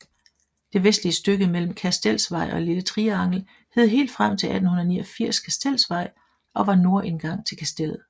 Det vestligste stykke mellem Kastelsvej og Lille Triangel hed helt frem til 1889 Kastelsvej og var nordindgang til Kastellet